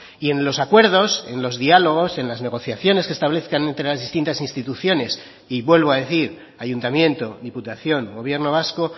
y en los acuerdos en los diálogos en las negociaciones que establezcan entre las distintas instituciones y vuelvo a decir ayuntamiento diputación gobierno vasco